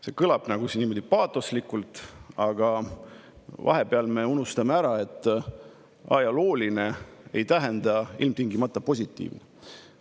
See kõlab nagu paatoslikult, aga vahepeal me unustame ära, et ajalooline päev ei tähenda ilmtingimata midagi positiivset.